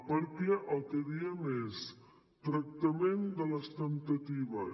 perquè el que diem és tractament de les temptatives